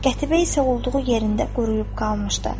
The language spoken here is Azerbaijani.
Qətibə isə olduğu yerində quruyub qalmışdı.